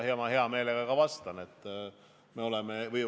Ma hea meelega vastan teile.